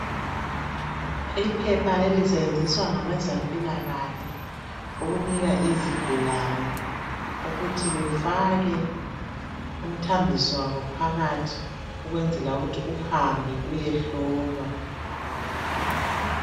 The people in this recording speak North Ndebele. Iphepha leli isetshenziswa ngabezempilakahle, ukunika izigulane ukuthi befake umthambiso wabo phakathi ukwenzela ukuthi uhambe uyehlolwa.